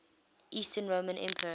eastern roman emperor